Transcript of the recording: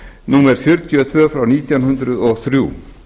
númer fjörutíu og tvö nítján hundruð og þrjú